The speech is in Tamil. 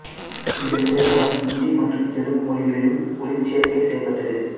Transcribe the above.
இந்த திரைப்படம் ஹிந்தி மற்றும் தெலுங்கு மொழிகளிலும் ஒலிச்சேர்க்கை செய்யப்பட்டது